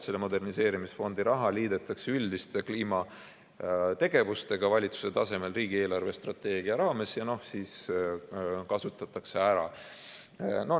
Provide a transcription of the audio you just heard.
Selle moderniseerimisfondi raha liidetakse üldiste kliimategevustega valitsuse tasemel riigi eelarvestrateegia raames ja siis kasutatakse ära.